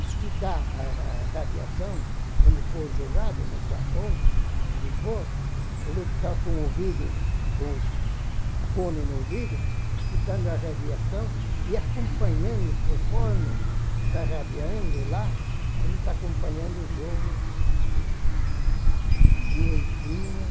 escutar a a radiação, onde for jogado, no Japão, onde for, ele tá com o ouvido, com o, uhum, fone no ouvido, escutando a radiação e acompanhando, conforme tá radiando lá, ele tá acompanhando o jogo direitinho.